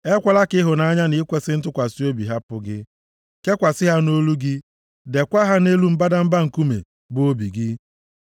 Ekwela ka ịhụnanya na ikwesi ntụkwasị obi hapụ gị, kekwasị ha nʼolu gị, deekwa ha nʼelu mbadamba nkume, bụ obi gị. + 3:3 Ịsụgharị ya nʼụzọ ọzọ ga-abụ, deekwa ha nʼime obi gị \+xt 7:3; 2Kọ 3:3\+xt*